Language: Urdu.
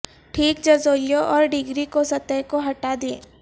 ٹھیک جزویوں اور ڈگری کو سطح کو ہٹا دیں